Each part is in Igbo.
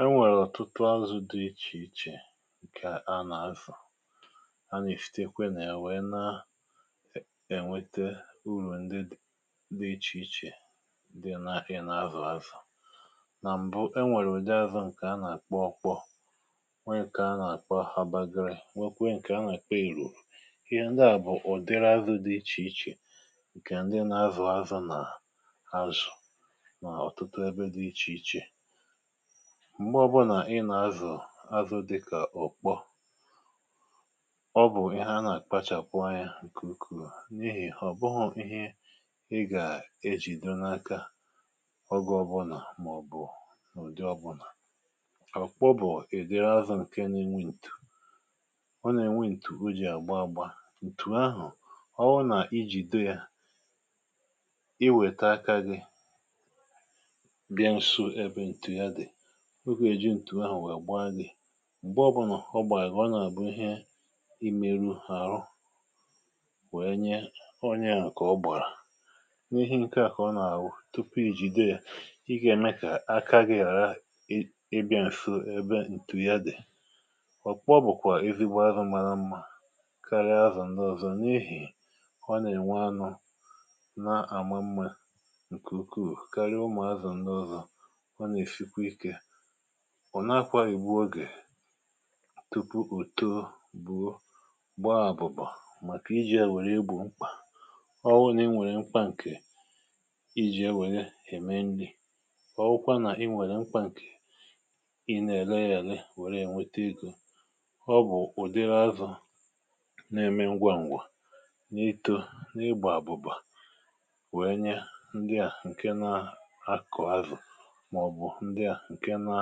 enwèrè ọ̀tụtụ azụ̇ dị ichè ichè ǹkè ha nà-azụ̀ a nà-èsitekwe nà ya wèe na-ènwete urù ndị dị ichè ichè di na i ne-azụ̀ azụ̀ nà m̀bụ enwèrè udị azụ̀ ǹkè ha nà-akpo okpo nweè kà ha nà-àkpo habagri nwekwe ǹkè ha nà-èkpe erù ihe ndị à bụ̀ ụ̀dịrȧ azù dị ichè ichè ǹkè ndị na-azụ̀ azụ̀ nà azụ̀ na otutu ebe di ichiche m̀gbe ọbụnà ị nà-azụ̀ azụ̇ dịkà ọ̀kpọ ọ bụ̀ ihe a nà-àkpachàkwa ya ǹkùkù n’ihì ọ̀ bụhụ̇ ihe ị gà-ejìdo n’aka ọge ọbụnà màọ̀bụ̀ ụ̀dị ọbụnà. ọ̀kpọ bụ̀ èdere azụ̇ ǹke n’enwe ntù. ọ nà-enwe ntù ó jì àgba agba, ǹtù ahụ̀ ọ wụ nà ijìdo ya i wète aka gị bia nsó ebe ntù ya di o ga ejị ǹtù ahù wèe gbaa gị̇ ǹgbe ọbụnọ̀ ọ gbàrà gi ọ nà-àbụ ihe imeru àrụ wèe nye onyeà nke ọ ogbarà n’ihe nke à kà ọ nà-àwụ tupu i jìdo yȧ ị gà-ème kà aka gị̇ hàra ị bịȧ ǹso ebe ǹtù ya dị̀ ọkpọ bụ̀kwà ezi̇gbo azụ mȧra mmȧ karịa azụ̀ ǹdị ọ̀zọ n’ehì ọ nà-ènwe anụ̇ na-àma mmȧ ǹkè ukwuù karịa ụmụ̀ azụ̀ ǹdị ọ̀zọ o na esikwa ike ọ̀ nàakwa ìgbu ogè tupu òto, buo gbaa àbụ̀bà màkà iji̇ à wèrè egbò mkpà ọ wụ n’inwèrè nkwa ǹkè iji̇ enwèrè ème nri̇ ọ̀ wụkwa nà i nwèrè nkwa ǹkè i nà-èle yȧ èle wère ènwete egȯ ọ bụ̀ ụ̀dịrị azụ̀ na-eme ngwa ǹgwù n’itȯ, n’igbà àbụ̀bà wèe nye ndị à ǹke na-akọ̀ azụ̀ maobu ndi a nke na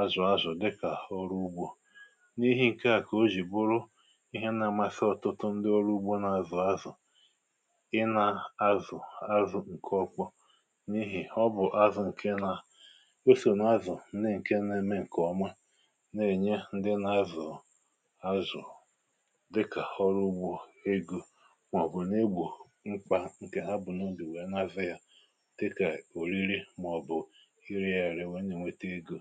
azụ̀ azụ̀ dịkà ọrụ ugbȯ n’ihi ǹke à kà o jì bụrụ ihe na-amasị ọ̀tụtụ ndị ọrụ ugbȯ nà-azụ̀ azụ̀ ị nà-azụ̀ azụ̀ ǹke ọkpọ n’ihì ọ bụ̀ azụ̀ ǹke na o sò n’azụ̀ ndi ǹke na-eme ǹkè ọma na-ènye ndị nà-azụ̀ azụ̀ dịkà ọrụ ugbȯ egȯ màọ̀bụ̀ nà-egbò mkpà ǹkè ha bu na obi wee na azu ya dika olili maobu ere ya ere wee na enwete ego.